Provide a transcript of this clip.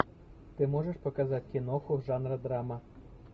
ты можешь показать киноху жанра драма